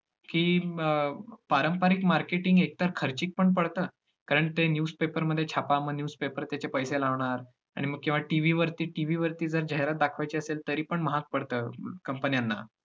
की अं पारंपरिक marketing एकतर खर्चीक पण पडतं, कारण ते newspaper मध्ये छापा मग newspaper त्याचे पैसे लावणार आणि मग किंवा TV वरती TV वरती जर जाहिरात दाखवायची असेल, तरीपण महागा पडतं company ना